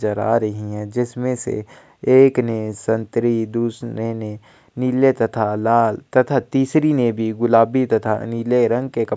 नज़र आ रही है जिसमें से एक ने संतरी दूसरे ने नील तथा लाल तथा तीसरी ने भी गुलाबी तथा नीले रंग के कपड़े--